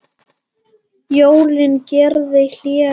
Jón gerði hlé á málinu.